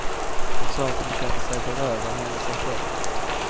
Hon sa att hon kände sig berövad hela sig själv.